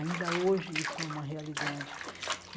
Ainda hoje isso é uma realidade.